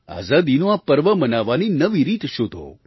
આઝાદીનું આ પર્વ મનાવવાની નવી રીત શોધો